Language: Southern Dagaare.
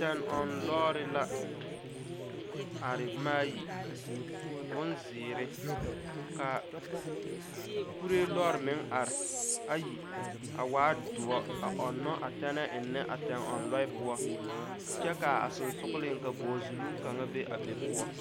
Tɛŋ ɔŋ lɔɔre la are boma ayi bonzeere ka kuree lɔɔre meŋ are ayi a waa doɔre a ɔŋnɔ tɛnɛɛ eŋnɛ tɛŋɔŋ lɔɛ poɔ kyɛ ka a sensogleŋ ka bogizuluŋ kaŋa be a be poɔ.